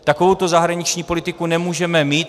Takovouto zahraniční politiku nemůžeme mít.